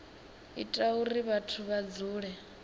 ita uri vhathu vha dzule